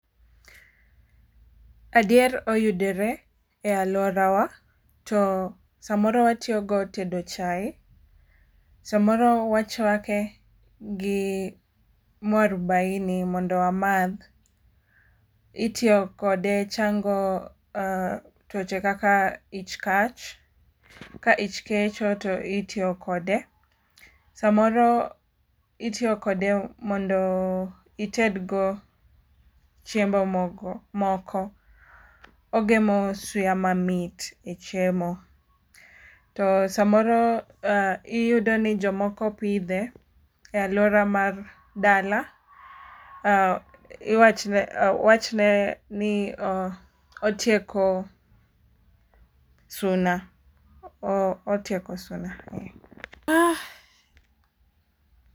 Adier oyudore e aluora wa to samoro watoyogo e tedo chai. Samoro wachwake gi marubaini mondo amadh. Itiyo kode chango twoche kaka ich kach. Ka ich kecho to itiyo kode. Samoro itiyo kode mondo ited go chiemo moko. Ogemo suya mamit e chiemo. To samoro iyudo ni jomoko pidhe e aluora mag dala. Iwach wachre ni otieko suna. Otieko suna.